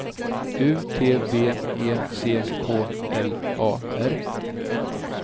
U T V E C K L A R